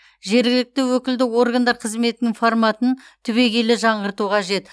жергілікті өкілді органдар қызметінің форматын түбегейлі жаңғырту қажет